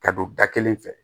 Ka don da kelen fɛ